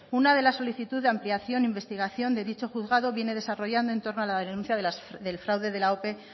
una de la solicitud de ampliación e investigación de dicho juzgado viene desarrollando en torno a la denuncia del fraude de la ope